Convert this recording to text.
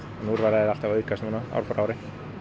úrvalið er alltaf að aukast ár frá ári